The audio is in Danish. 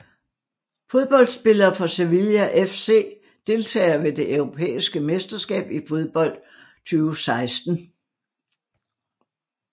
Fodboldspillere fra Sevilla FC Deltagere ved det europæiske mesterskab i fodbold 2016